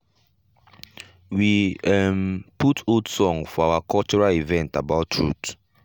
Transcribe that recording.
we um put old song for our cultural event about truth.